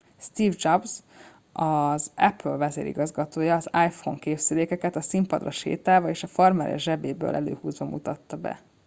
steve jobs az apple vezérigazgatója az iphone készüléket a színpadra sétálva és a farmerja zsebéből előhúzva mutatta be